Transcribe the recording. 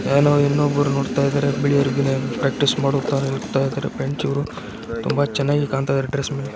ಏನೋ ಇನ್ನೊಬ್ಬರು ನೋಡ್ತಾ ಇದ್ದಾರೆ ಗೆಳೆಯರು ಪ್ರಾಕ್ಟೀಸ್ ಮಾಡ್ತಾ ಇದ್ದಾರೆ ತುಂಬಾ ಚೆನ್ನಾಗಿ ಕಣ್ಣುತ್ತಾ ಇದ್ದಾರೆ ಡ್ರೆಸ್ ಮೇಲೆ .